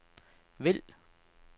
vælg